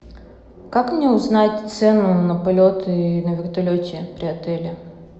как мне узнать цену на полеты на вертолете при отеле